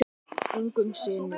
Ungum syni